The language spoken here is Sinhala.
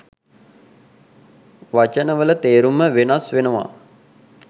වචනවල තේරුම වෙනස් වෙනවා